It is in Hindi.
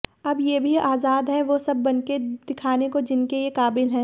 अब ये भी आज़ाद है वो सब बनके दिखाने को जिनके ये काबिल है